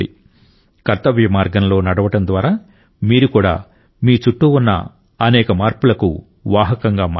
కర్తవ్య మార్గంలో నడవడం ద్వారా మీరు కూడా మీ చుట్టూ ఉన్న అనేక మార్పులకు వాహకంగా మారవచ్చు